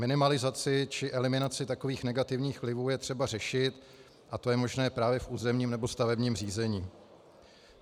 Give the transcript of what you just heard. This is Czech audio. Minimalizaci či eliminaci takových negativních vlivů je třeba řešit a to je možné právě v územním nebo stavebním řízení.